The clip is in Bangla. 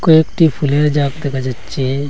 একটি একটি ফুলের যাক দেখা যাচ্ছে।